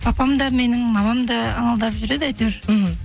папам да менің мамам да ыңылдап жүреді әйтеуір мхм